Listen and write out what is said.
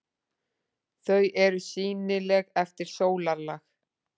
Þau eru sýnileg eftir sólarlag.